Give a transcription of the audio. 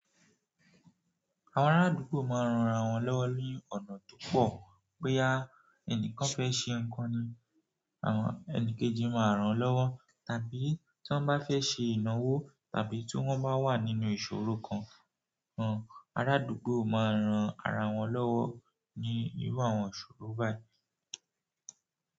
Ara àdúgbò maa n ran ra won lowo ni ọ̀nà púpọ̀. Bóyá ẹnìkan fẹ́ ṣe nǹkan ni, àwọn ẹnikeji máa ràn án lọ́wọ́, tàbí tí wọ́n bá fẹ́ ṣe ìnawò, tàbí tí wọ́n bá wà nínú ìṣòro kan, àwọn ará àdúgbò máa ń ran ara wọn lọ́wọ́ ní irú àwọn ìṣòro báyìí.